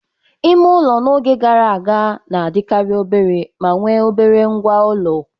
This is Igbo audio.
Ime ụlọ n'oge gara aga na-adịkarị obere ma nwe obere ngwa ulo.